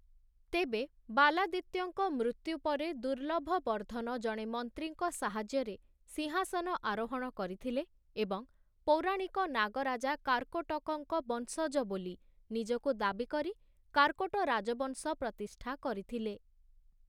ତେବେ, ବାଲାଦିତ୍ୟଙ୍କ ମୃତ୍ୟୁ ପରେ ଦୁର୍ଲଭବର୍ଦ୍ଧନ ଜଣେ ମନ୍ତ୍ରୀଙ୍କ ସାହାଯ୍ୟରେ ସିଂହାସନ ଆରୋହଣ କରିଥିଲେ, ଏବଂ ପୌରାଣିକ ନାଗ ରାଜା କାର୍କୋଟକଙ୍କ ବଂଶଜ ବୋଲି ନିଜକୁ ଦାବିକରି କାର୍କୋଟ ରାଜବଂଶ ପ୍ରତିଷ୍ଠା କରିଥିଲେ ।